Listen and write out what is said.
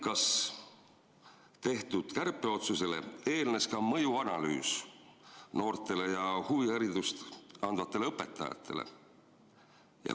Kas tehtud kärpeotsusele eelnes ka mõjuanalüüs noorte ja huviharidust andvate õpetajate kohta?